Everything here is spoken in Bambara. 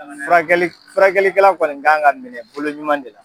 Furakɛli furakɛli kɛla kɔni ka kan ka minɛ bolo ɲuman de la.